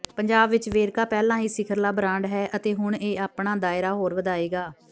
ਪੰਜਾਬ ਵਿੱਚ ਵੇਰਕਾ ਪਹਿਲਾਂ ਹੀ ਸਿਖਰਲਾ ਬਰਾਂਡ ਹੈ ਅਤੇ ਹੁਣ ਇਹ ਆਪਣਾ ਦਾਇਰਾ ਹੋਰ ਵਧਾਏਗਾ